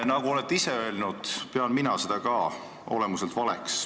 Te olete ise seda öelnud ja ka mina pean seda olemuselt valeks.